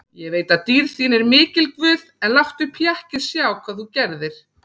Ég veit að dýrð þín er mikil guð, en láttu pakkið sjá hvað þú gerðir.